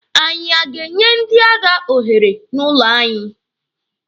Anyị a ga-enye ndị agha ohere n'ụlọ anyị?